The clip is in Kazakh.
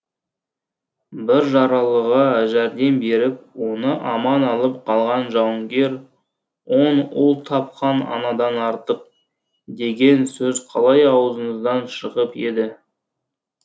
бір жаралыға жәрдем беріп оны аман алып қалған жауынгер он ұл тапқан анадан артық деген сөз қалай аузыңыздан шығып еді